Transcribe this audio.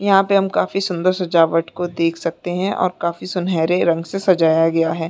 यहाँ पे हम काफी सुंदर सजावट को देख सकते है और काफी सुनहरे रंग से सजाया गया है